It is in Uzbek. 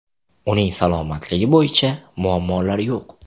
Uning salomatligi bo‘yicha muammolar yo‘q.